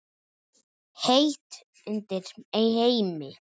Heitt undir Heimi?